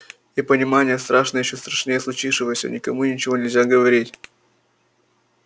и понимание страшное ещё страшнее случившегося никому и ничего нельзя говорить